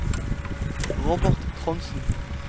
Robert Trondsen